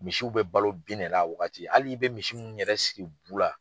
Misiw bɛ balo bin de la a wagati halii i bɛ misiw minnu yɛrɛ siri bu la.